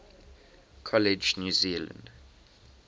college new zealand